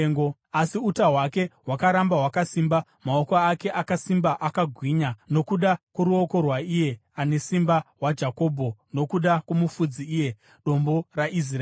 Asi uta hwake hwakaramba hwakasimba, maoko ake akasimba, akagwinya, nokuda kworuoko rwaIye Anesimba waJakobho, nokuda kwoMufudzi, iye Dombo raIsraeri,